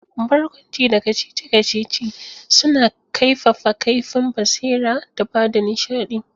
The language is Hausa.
Barkwanci da kacici-kacici suna kaifafa kaifin basira da ba da nishadi.